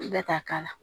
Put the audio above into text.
Bɛɛ t'a k'a la